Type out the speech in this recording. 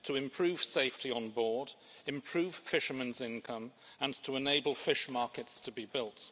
improve safety on board, improve fishermen's income and enable fish markets to be built.